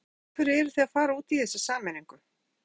Lóa: Af hverju eruð þið að fara út í þessa sameiningu?